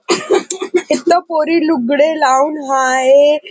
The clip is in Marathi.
इथन पोरी लुगडे लावून आहेत हाये.